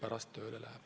Aitäh!